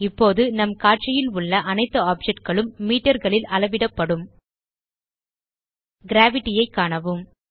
இப்போது நம் காட்சியில் உள்ள அனைத்து ஆப்ஜெக்ட் களும் metreகளில் அளவிடப்படும் கிரேவிட்டி ஐ காணவும்